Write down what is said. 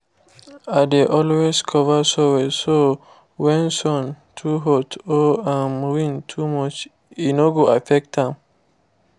i dey always cover soil so when sun too hot or um wind too much e no go affect am